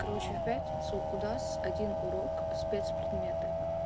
короче в пятницу у нас один урок спец предметы